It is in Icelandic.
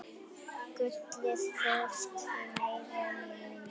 Gullið, hvorki meira né minna.